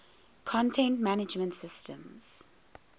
content management systems